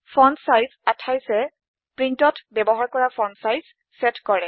font size 28এ প্ৰীন্টত ব্যৱহাৰ কৰা ফন্ট চাইজ চেট কৰে